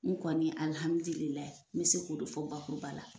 Ni kɔni n bɛ se k'o de fɔ bakuruba la